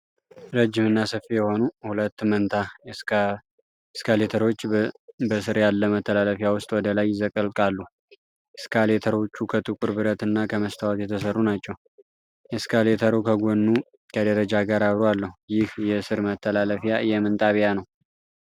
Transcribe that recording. ረጅም እና ሰፊ የሆኑ ሁለት መንታ ኤስካሌተሮች በስር ያለ መተላለፊያ ውስጥ ወደ ላይ ይዘልቃሉ። ኤስካሌተሮቹ ከጥቁር ብረት እና ከመስታወት የተሰሩ ናቸው። ኤስካሌተሩ ከጎኑ ከደረጃ ጋር አብሮ አለው። ይህ የስር መተላለፊያ የምን ጣቢያ ነው?